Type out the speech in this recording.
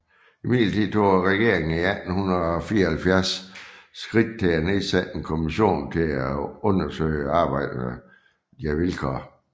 Imidlertid tog regeringen i 1874 skridt til at nedsætte en kommission til at undersøge arbejdernes vilkår